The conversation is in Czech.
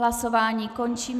Hlasování končím.